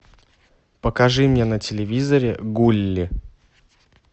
покажи мне на телевизоре гулли